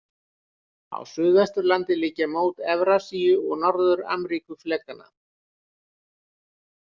Á Suðvesturlandi liggja mót Evrasíu- og Norður-Ameríkuflekanna.